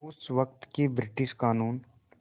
उस वक़्त के ब्रिटिश क़ानून